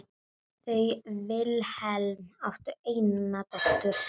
Þau Vilhelm áttu eina dóttur.